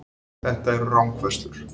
Þetta eru rangfærslur